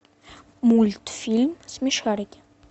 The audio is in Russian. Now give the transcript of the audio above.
мультфильм смешарики